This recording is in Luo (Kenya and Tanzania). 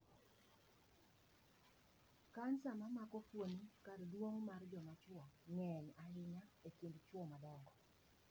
Kansa mamako fuoni kardung'o mar jo machwo ng'eny ahinya e kind chwo madongo.